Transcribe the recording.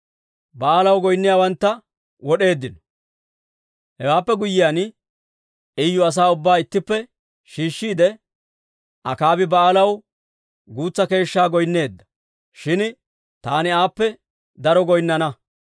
Hewaappe guyyiyaan, Iyu asaa ubbaa ittippe shiishshiide, «Akaabi Ba'aalaw guutsa keeshshaa goynneedda; shin taani aappe daro goynnana.